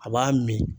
A b'a min